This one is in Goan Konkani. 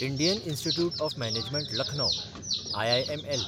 Indian institute of management Lucknow (IIML)